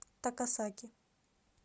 такасаки